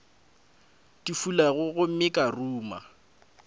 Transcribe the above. di fulago gomme ka ruma